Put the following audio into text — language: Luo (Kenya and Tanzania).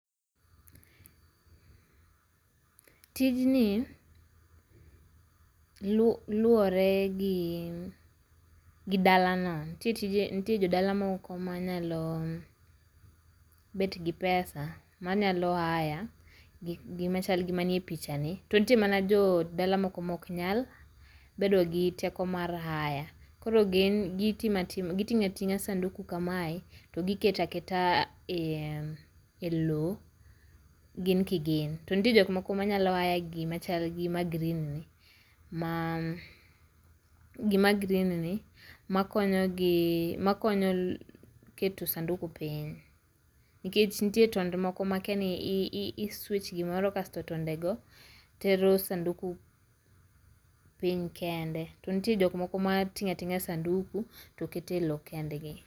Tijni luore gi gi dalano. Nitie jodala moko manyalo bet gi pesa manyalo hire gik gi ma chalo manie pichani tonitie mana jodala moko mok nyal bedo gi teko mar hire. Koro gin giting'o ating'a sanduku kamae, to giketo aketa elowo gin kigin. to nitie jok moko manyalo hire gimachal gi ma green, gi ma green maa makonyogi pause makonyo keto sanduku piny nikech nitie tonde moko ma akia ni i switch gimoro kae to tondego tero sanduku piny kende to nitie jok moko mating'o ating'a sanduku to keto e lowo kendgi